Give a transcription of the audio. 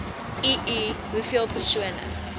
ii hoeveel persone